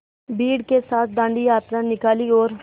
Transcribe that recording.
भीड़ के साथ डांडी यात्रा निकाली और